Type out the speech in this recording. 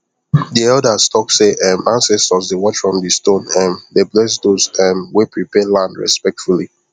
the elders talk say um ancestors dey watch from the stone um dey bless those um wey prepare land respectfully